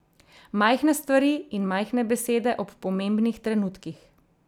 Majhne stvari in majhne besede ob pomembnih trenutkih.